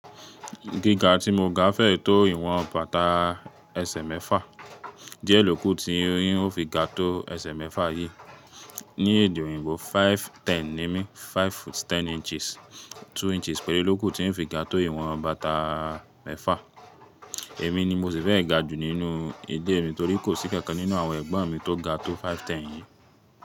Gíga tí mo ga fẹ́ tó ìwọ̀n bàtà ẹsẹ̀ mẹ́fà, jẹ́ ló kù tí ó fi ga tó ẹsẹ̀ mẹ́fà yìí. Ní èdè òyìnbó five ten ni mí, five foot ten inches, two inches péré ló kù tí ń fi ga tó ìwọ̀n bàtà mẹ́fà. Èmi ni mo sì fẹ́ ga jù nínú ìlé mi torí kò sí kankan nínú àwọn ẹ̀gbọ́n mi tó ga tó five ten yìí.